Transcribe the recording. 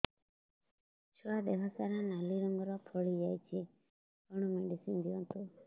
ଛୁଆ ଦେହ ସାରା ନାଲି ରଙ୍ଗର ଫଳି ଯାଇଛି କଣ ମେଡିସିନ ଦିଅନ୍ତୁ